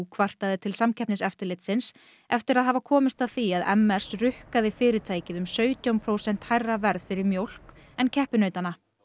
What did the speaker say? kvartaði til Samkeppniseftirlitsins eftir að hafa komist að því að m s rukkaði fyrirtækið um sautján prósent hærra verð fyrir mjólk en keppinautana